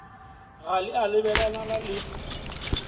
ga le a lebelelana le